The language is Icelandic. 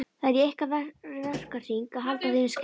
Það er í ykkar verkahring að halda þeim í skefjum.